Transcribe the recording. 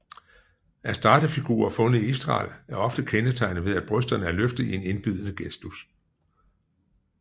Astartefigurer fundet i Israel er ofte kendetegnet ved at brysterne er løftet i en indbydende gestus